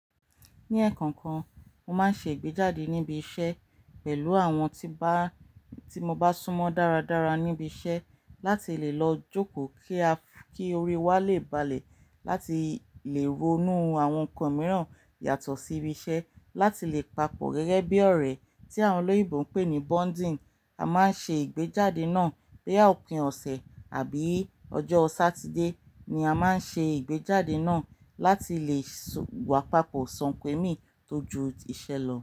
Ní ẹ̀ẹ̀kan kan, mo máa ń ṣe ìgbéjáde níbi iṣẹ́ pẹ̀lú àwọn tí bá, tí mo bá sún mọ́ dára dára níbi iṣẹ́ láti lè lọ jókòó kí a, kí orí wa lè balẹ̀ láti lè ronú àwọn nǹkan mìíràn yàtọ̀ sí ibi iṣẹ́ láti lè papọ̀ gẹ́gẹ́ bí ọ̀rẹ́ tí àwọn olóyinbo ń pè ní bonding. A máa ń ṣe ìgbéjáde náà boya òpin ọ̀sẹ̀ àbí ọjọ́ Satide ni a máa ń ṣe ìgbéjáde náà láti lè wà papọ̀ sanpèmi tójú iṣẹ́ lọ.